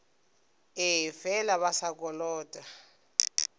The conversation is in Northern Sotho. ee fela ba sa kolota